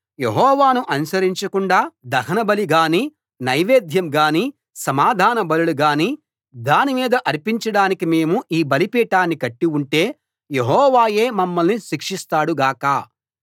యెహోవాను అనుసరించకుండా దహనబలి గానీ నైవేద్యం గానీ సమాధాన బలులు గానీ దానిమీద అర్పించడానికి మేము ఈ బలిపీఠాన్ని కట్టి ఉంటే యెహోవాయే మమ్మల్ని శిక్షిస్తాడు గాక